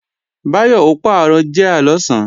Báyọ̀ ó pàrọ̀ jíà lọ̀sán